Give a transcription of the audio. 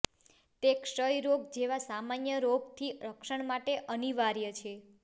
તે ક્ષય રોગ જેવા સામાન્ય રોગોથી રક્ષણ માટે અનિવાર્ય છે